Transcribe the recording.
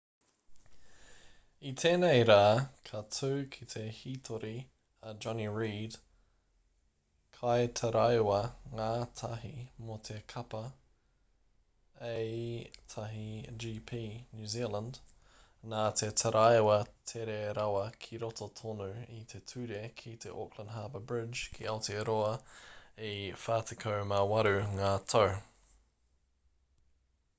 i tēnei rā ka tū ki te hītori a jonny reid kaitaraiwa-ngātahi mō te kapa a1gp new zealand nā te taraiwa tere rawa ki roto tonu i te ture ki te auckland harbour bridge ki aotearoa e 48 ngā tau